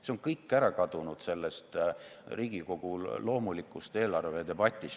See on kõik ära kadunud sellest Riigikogu loomulikust eelarvedebatist.